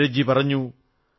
നീരജ് ജി പറഞ്ഞു